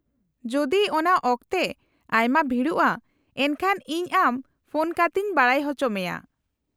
-ᱡᱩᱫᱤ ᱚᱟᱱ ᱚᱠᱛᱮ ᱟᱭᱢᱟ ᱵᱷᱤᱲᱚᱜᱼᱟ ᱮᱱᱠᱷᱟᱱ ᱤᱧ ᱟᱢ ᱯᱷᱳᱱ ᱠᱟᱛᱮᱧ ᱵᱟᱰᱟᱭ ᱚᱪᱚ ᱢᱮᱭᱟ ᱾